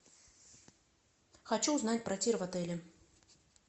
хочу узнать про тир в отеле